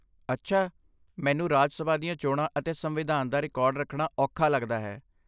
ਅੱਛਾ। ਮੈਨੂੰ ਰਾਜ ਸਭਾ ਦੀਆਂ ਚੋਣਾਂ ਅਤੇ ਸੰਵਿਧਾਨ ਦਾ ਰਿਕਾਰਡ ਰੱਖਣਾ ਔਖਾ ਲੱਗਦਾ ਹੈ।